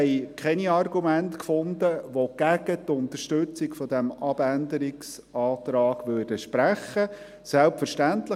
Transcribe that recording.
Wir fanden keine Argumente, welche gegen die Unterstützung dieses Abänderungsantrags sprechen würden.